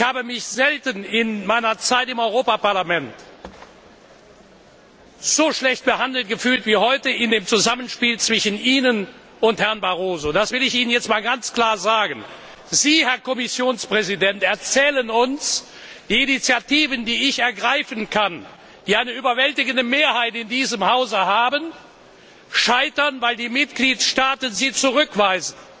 Ich habe mich in meiner Zeit im Europäischen Parlament selten so schlecht behandelt gefühlt wie heute im Zusammenspiel zwischen Ihnen und Herrn Barroso. Das will ich Ihnen jetzt ganz klar sagen. Sie, Herr Kommissionspräsident, erzählen uns Die Initiativen, die ich ergreifen kann, die eine überwältigende Mehrheit in diesem Haus haben, scheitern, weil die Mitgliedstaaten sie zurückweisen.